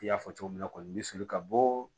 I y'a fɔ cogo min na kɔni n bɛ sɔli ka bɔ